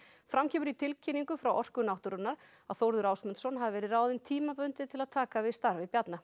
fram kemur í tilkynningu frá Orku náttúrunnar að Þórður Ásmundsson hafi verið ráðinn tímabundið til að taka við starfi Bjarna